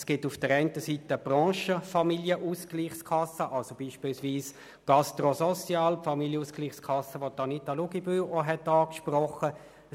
Es gibt auf der einen Seite Branchen-Familienausgleichskassen wie beispielsweise GastroSocial, und die Familienausgleichskasse, die Grossrätin Luginbühl auch angesprochen hatte.